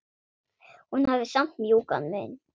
Hún hafði samt mjúkan munn.